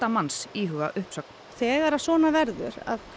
manns íhuga uppsögn þegar svona verður að